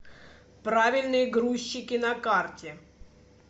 правильные грузчики на карте